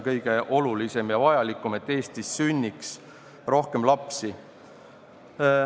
Eestis peaks sündima rohkem lapsi.